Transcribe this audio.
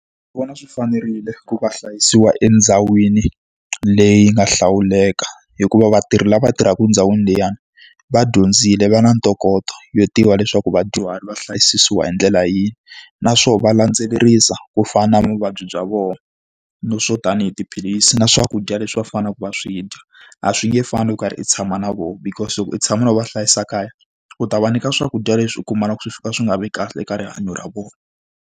Vona swi fanerile ku va hlayisiwa endhawini leyi nga hlawuleka, hikuva vatirhi lava tirhaka endhawini liyani va dyondzile va na ntokoto yo tiva leswaku vadyuhari va hlayisisiwa hi ndlela yihi. Naswona va landzelerisa ku fana na vuvabyi bya vona no swo tanihi tiphilisi na swakudya leswi va faneleke va swi dya. A swi nge fani na loko u karhi u tshama na vona, because loko u tshama na vona u va hlayisa kaya, u ta va nyika swakudya leswi u kumaka swi fika swi nga vi kahle eka rihanyo ra vona.